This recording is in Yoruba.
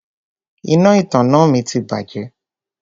Iná ìtanná mi ti bàjẹ́.